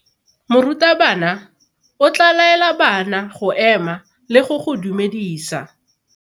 Morutabana o tla laela bana go ema le go go dumedisa.